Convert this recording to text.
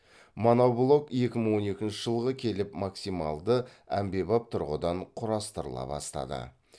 моноблок екі мың он екінші жылға келіп максималды әмбебап тұрғыдан құрастырыла бастады